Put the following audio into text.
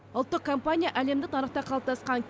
ұлттық компания әлемдік нарықта қалыптасқан